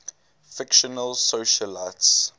fictional socialites